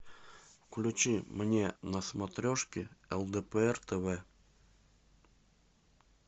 включи мне на смотрешке лдпр тв